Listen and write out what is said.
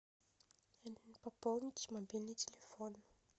пополнить мобильный телефон